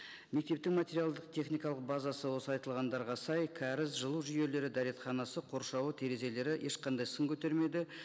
мектептің материалдық техникалық базасы осы айтылғандарға сай кәріз жылу жүйелері дәретханасы қоршауы терезелері ешқандай сын көтермейді